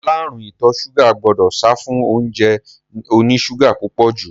Aláàrúùn ìtọ ṣúgà gbọdọ̀ sáfún óúnjẹ oní ṣúgà púpọ̀ jù.